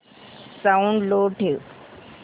sound लो ठेव